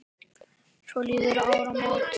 Svo liðu áramót.